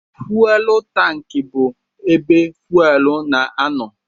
Fuwel tankị bụ ebe fuwel na-anọ.